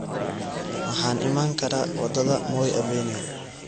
Waxaan iman karaa wadada moi avenue